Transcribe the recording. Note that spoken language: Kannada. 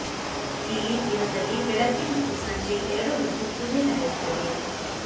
ಇಲ್ಲಿ ದಿನದಲ್ಲಿ ಬೆಳಗ್ಗೆ ಮತ್ತು ಸಂಜೆ ಎರಡು ಹೊತ್ತು ಪೂಜೆ ನಡೆಯುತ್ತದೆ